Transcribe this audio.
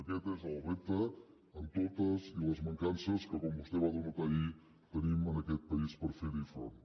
aquest és el repte amb totes les mancances que com vostè va denotar ahir tenim en aquest país per fer hi front